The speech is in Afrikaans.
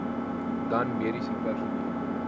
dan mediese personeel